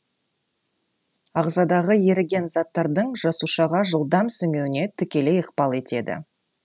ағзадағы еріген заттардың жасушаға жылдам сіңуіне тікелей ықпал етеді